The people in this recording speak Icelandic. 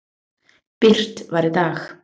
birt var í dag.